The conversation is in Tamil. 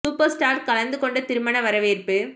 சூப்பர் ஸ்டார் கலந்துகொண்ட திருமண வரவேற்பு